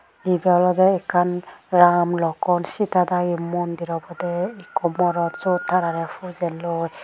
ebey olodey ekkan ram lokhan setta dagi mondir obodey ekkho morot seyot tararey pujer loi.